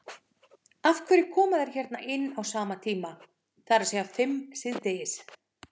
Af hverju koma þeir hérna á sama tíma, það er að segja fimm síðdegis?